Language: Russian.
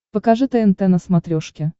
покажи тнт на смотрешке